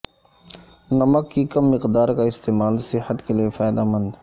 نمک کی کم مقدار کا استعمال صحت کے لیے فائدہ مند